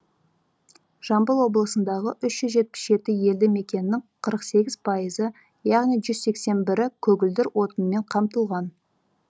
жамбыл облысындағы үш жүз жетпіс жеті елді мекеннің қырық сегіз пайызы яғни жүз сексен сегізі көгілдір отынмен қамтылған